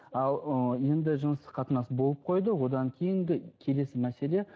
ал ы енді жыныстық қатынас болып қойды одан кейінгі келесі мәселе